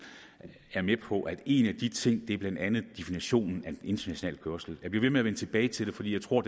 er med på at en af de ting blandt andet er definitionen af international kørsel jeg bliver ved med at vende tilbage til det for jeg tror